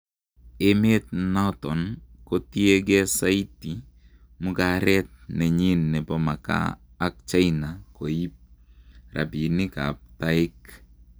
Emet naton kotiengee saiti mugaret nenyin nepo makaa ak China koip rapinik ap taek